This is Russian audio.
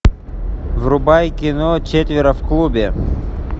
врубай кино четверо в клубе